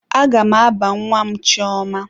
Aga m aba nwa m chioma.